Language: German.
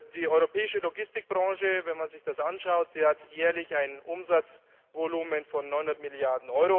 Die europäische Logistikbranche, wenn man sich das anschaut, hat jährlich ein Umsatzvolumen von 900 Mrd.